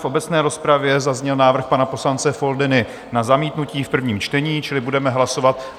V obecné rozpravě zazněl návrh pana poslance Foldyny na zamítnutí v prvním čtení, čili budeme hlasovat...